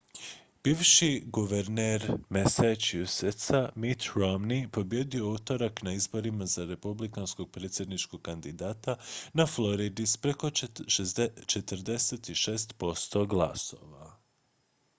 bivši guverner massachusettsa mitt romney pobijedio je u utorak na izborima za republikanskog predsjedničkog kandidata na floridi s preko 46 posto glasova